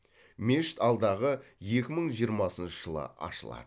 мешіт алдағы екі мың жиырмасыншы жылы ашылады